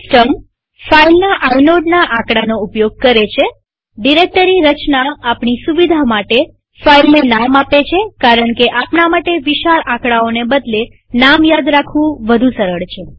system ફાઈલના આઇનોડના આકડાનો ઉપયોગ કરે છેડિરેક્ટરી રચના આપણી સુવિધા માટે ફાઈલને નામ આપે છે કારણકે આપણા માટે વિશાળ આકડાઓને બદલે નામ યાદ રાખવું સરળ છે